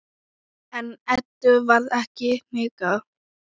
En Eddu varð ekki hnikað.